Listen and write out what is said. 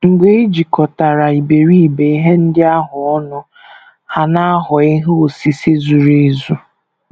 Mgbe e jikọtara iberibe ihe ndị ahụ ọnụ, ha na - aghọ ihe osise zuru ezu.